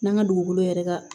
N'an ka dugukolo yɛrɛ ka